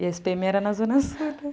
E a esse pê eme era na Zona Sul também.